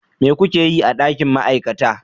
Me kuke yi a dakin ma'aikata?